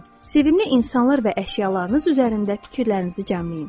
Sevimli insanlar və əşyalarınız üzərində fikirlərinizi cəmləyin.